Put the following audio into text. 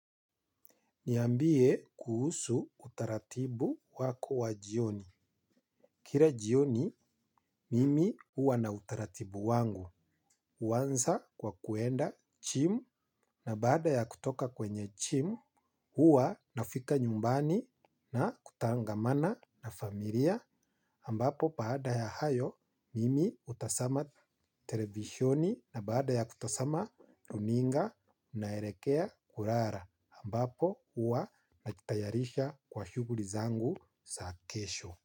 Niambie kuhusu utaratibu wako wa jioni. Kila jioni, mimi huwa na utaratibu wangu. Huanza kwa kuenda jimu na baada ya kutoka kwenye jimu, huwa nafika nyumbani na kutangamana na familia. Ambapo baada ya hayo, mimi hutazama televisheni na baada ya kutazama, runinga, naelekea, kulala. Ambapo huwa najitayarisha kwa shughuli zangu za kesho.